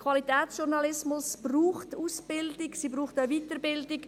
Qualitätsjournalismus braucht Ausbildung, er braucht auch Weiterbildung.